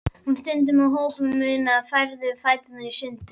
Hún stundi með opinn munninn og færði fæturna sundur.